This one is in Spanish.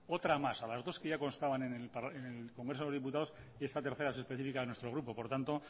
otra más a las dos que ya constaban en el congreso de los diputados y esta tercera que es específica de nuestro grupo por tanto